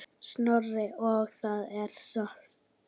Snorra og það er sárt.